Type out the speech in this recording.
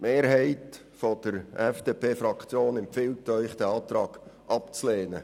Die Mehrheit empfiehlt Ihnen, diesen Antrag abzulehnen.